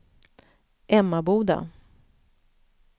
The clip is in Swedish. Emmaboda